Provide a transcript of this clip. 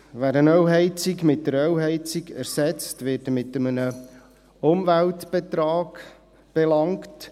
Wer eine Ölheizung durch eine Ölheizung ersetzt, wird mit einem Umweltbetrag belangt.